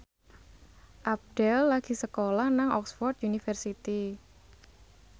Abdel lagi sekolah nang Oxford university